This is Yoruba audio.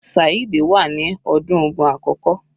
Saheed wà ní ọdún ogún àkókò.